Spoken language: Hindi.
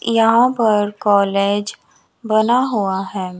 यहां पर कॉलेज बना हुआ है।